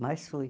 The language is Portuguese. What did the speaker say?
Mas fui.